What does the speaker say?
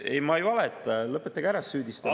Ei, ma ei valeta, lõpetage ära see süüdistamine.